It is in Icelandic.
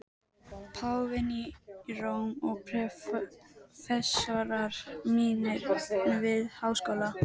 Páfinn í Róm og prófessorar mínir við Háskóla